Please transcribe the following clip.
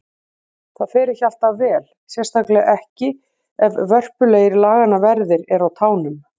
Það fer ekki alltaf vel, sérstaklega ekki ef vörpulegir laganna verðir eru á tánum.